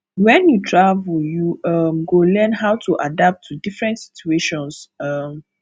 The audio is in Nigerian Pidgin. wen you travel you um go learn how to adapt to different situations um